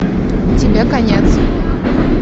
тебе конец